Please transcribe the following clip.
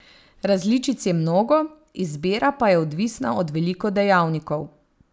Različic je mnogo, izbira pa je odvisna od veliko dejavnikov.